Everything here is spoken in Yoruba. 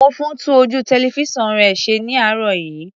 Múfú tún ojú tẹlifísàn rẹ̀ ṣe ní àárọ̀ yìí.